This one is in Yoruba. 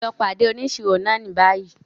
Lọ pàdé òníṣírò náà ní bayii!